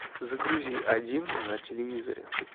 загрузи один на телевизоре